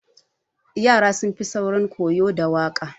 Yara sun fi saurin koyo da waƙa.